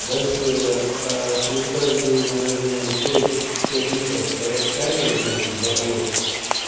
дальше через каждые наверное пять пять метров стоят камеры на этом заборе